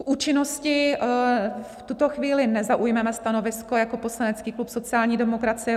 K účinnosti v tuto chvíli nezaujmeme stanovisko jako poslanecký klub sociální demokracie.